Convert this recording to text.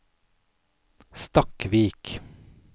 Stakkvik